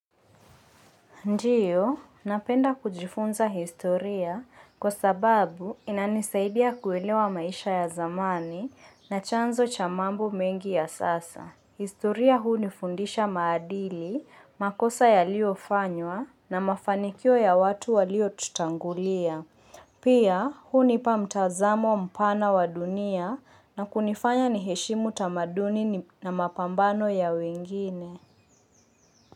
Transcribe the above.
Ndio, napenda kujifunza historia kwa sababu inanisaidia kuelewa maisha ya zamani na chanzo cha mambo mengi ya sasa. Historia hunifundisha maadili, makosa yaliofanywa na mafanikio ya watu walio tutangulia. Pia, hunipa mtazamo mpana wa dunia na kunifanya niheshimu tamaduni na mapambano ya wengine.